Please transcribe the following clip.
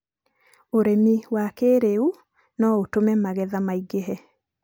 Ũrĩmi wa kĩĩrĩu no ũtũme magetha maingĩhe.